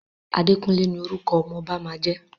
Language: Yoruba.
Àdékúnlé ní orúkọ ọmọ ọba máa jẹ́.